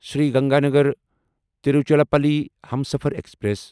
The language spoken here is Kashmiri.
سری گنگانَگر تیٖروچیراپلی ہمسفر ایکسپریس